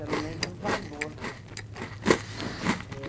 Eu não lembro o valor, é